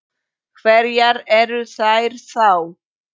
Hverjar eru þær þá?